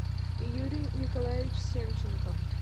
юрий николаевич семченков